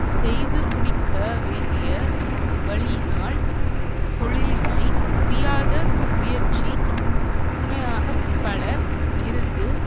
செய்து முடிக்க வேண்டிய வழியினால் தொழிலினை முடியாத முயற்சி துணையாக பலர் இருந்து